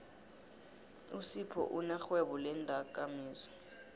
usiphou unerhwebo leendakamizwa